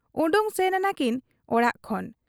ᱚᱰᱚᱠ ᱥᱮᱱ ᱟᱠᱟᱱᱟᱠᱤᱱ ᱚᱲᱟᱜ ᱠᱷᱚᱱ ᱾